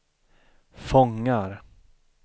fångar